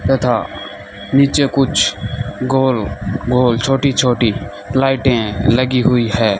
तथा नीचे कुछ गोल गोल छोटी छोटी लाइटें लगी हुई है।